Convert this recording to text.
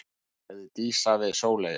sagði Dísa við Sóleyju.